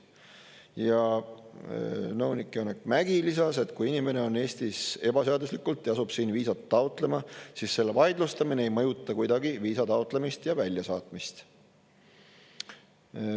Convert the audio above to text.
Ja nõunik Janek Mägi lisas, et kui inimene on Eestis ebaseaduslikult ja asub siin viisat taotlema, siis selle vaidlustamine ei mõjuta kuidagi viisa taotlemist ja väljasaatmist.